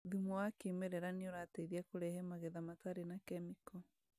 Thumu wa kĩmerera nĩũrateithia kũrehe magetha matarĩ na kemiko